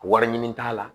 Wari ɲini t'a la